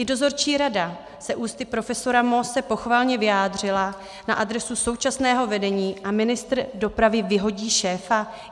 I dozorčí rada se ústy profesora Moose pochvalně vyjádřila na adresu současného vedení a ministr dopravy vyhodí šéfa?